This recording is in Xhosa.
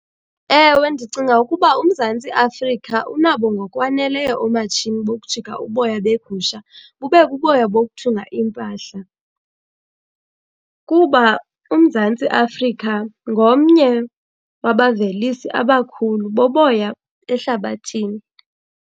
Ewe, ndicinga ukuba uMzantsi Afrika unabo ngokwaneleyo oomatshini bokujika uboya beegusha bube buboya bokuthunga iimpahla kuba uMzantsi Afrika ngomnye wabavelisi abakhulu boboya ehlabathini.